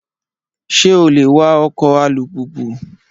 Ṣé o lè wa ọkọ̀ alùpùpù?